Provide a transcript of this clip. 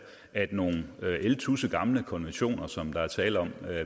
at nogle ældtussegamle konventioner som der er tale om